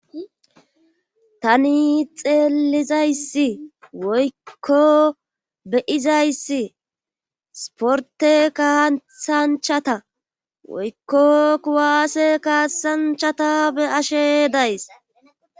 tani xeelizayssi woykko beyizayssi sporte kahathanchata woykko kuwaase kaasanchata be ashe days